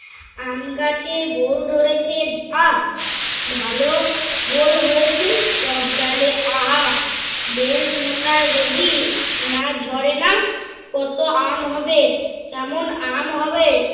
আমগাছে বোল ধরেছে বাহ! ভালো বোল হয়েছে সব ডালে আহা! বেল মোটা যদি না ঝরে না, কত আম হবে। কেমন আম হবে।